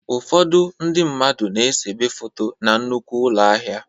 Ụfọdụ ndị mmadụ na-esebe foto na nnukwu ụlọ ahịa.